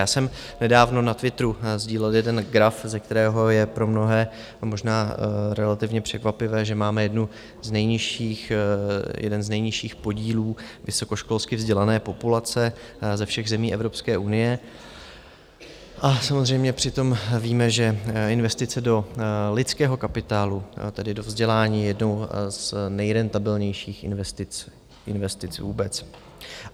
Já jsem nedávno na Twitteru sdílet jeden graf, ze kterého je pro mnohé možná relativně překvapivé, že máme jeden z nejnižších podílů vysokoškolsky vzdělané populace ze všech zemí Evropské unie, a samozřejmě přitom víme, že investice do lidského kapitálu, tedy do vzdělání, je jednou z nejrentabilnějších investic vůbec.